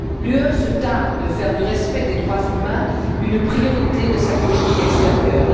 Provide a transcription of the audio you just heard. L'Union se targue de faire du respect des droits humains une priorité de sa politique extérieure.